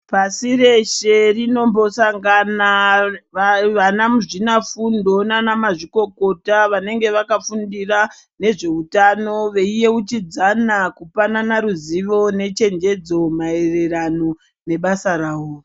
Pashi reshe rinombosangana vavanamuzvina fundo nana mazvikokota vanenge vakafundira nezveutano veiyeuchidzana kupanana ruzivo nechenjedzo mairirano nebasa ravo.